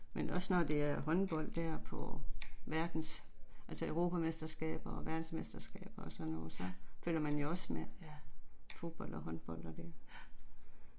Men også når det er håndbold der på verdens altså europamesterskaber og verdensmesterskaber, og sådan noget så følger man jo også med. Fodbold og håndbold og det